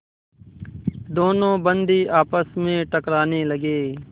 दोनों बंदी आपस में टकराने लगे